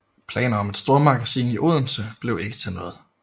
Planer om et stormagasin i Odense blev ikke til noget